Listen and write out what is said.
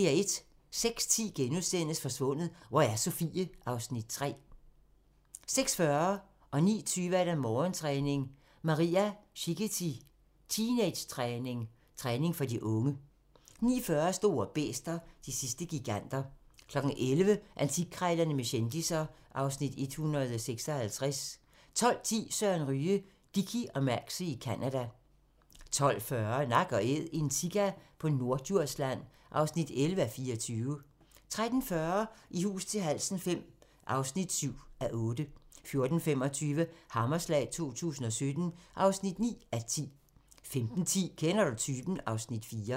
06:10: Forsvundet – hvor er Sofie? (Afs. 3)* 06:40: Morgentræning: Maria Szighety – teenagetræning / træning for de unge 09:20: Morgentræning: Maria Szighety – teenagetræning / træning for de unge 09:40: Store bæster – de sidste giganter 11:00: Antikkrejlerne med kendisser (Afs. 156) 12:10: Søren Ryge: Dickie og Maxie i Canada 12:40: Nak & Æd – en sika på Norddjursland (11:24) 13:40: I hus til halsen V (7:8) 14:25: Hammerslag 2017 (9:10) 15:10: Kender du typen? (Afs. 4)